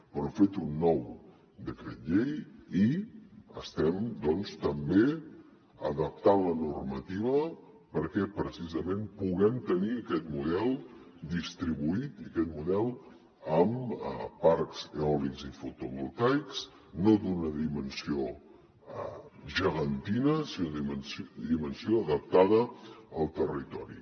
però hem fet un nou decret llei i estem doncs també adaptant la normativa perquè precisament puguem tenir aquest model distribuït i aquest model amb parcs eòlics i fotovoltaics no d’una dimensió gegantina sinó de dimensió adaptada al territori